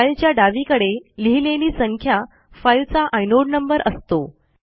फाईलच्या डावीकडे लिहिलेली संख्या फाईलचा आयनोड नंबर असतो